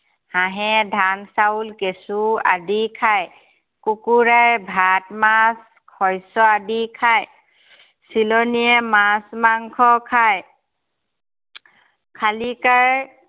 হাঁহে ধান, চাউল, কেঁচু আদি খায়। কুকুৰাই ভাত, মাছ, শস্য় আদি খায়। চিলনিয়ে মাছ মাংস খায়। শালিকাই